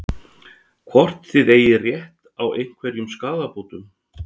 Hvort þið eigið rétt á einhverjum skaðabótum?